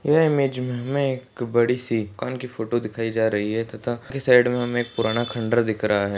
यह इमेज मे हमे एक बड़ी सी दुकान की फोटो दिखाई जा रही है तथा उसके साइड मे हमे एक पुराना खंडर दिख रहा है।